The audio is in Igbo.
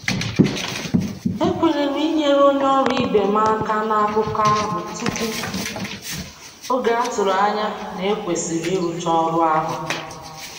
E kwenyere m inyere onye ọrụ ibe m aka n'akụkọ ahụ tupu oge a tụrụ anya na e kwesịrị ịrụcha ọrụ ahụ.